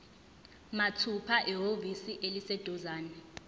mathupha ehhovisi eliseduzane